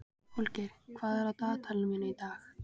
Holgeir, hvað er í dagatalinu mínu í dag?